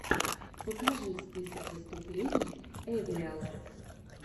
покажи список выступлений эвриал